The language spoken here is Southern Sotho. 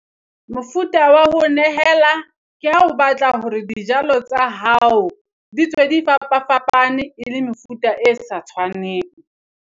Mofuta wa ho nehela ke ha o batla hore dijalo tsa hao di tswe di fapafapane e le mefuta e sa tshwaneng.